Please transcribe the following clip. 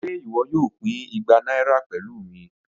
Ṣe iwọ yoo pin igba naira pẹlu mi?